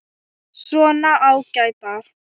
Svona ágætar.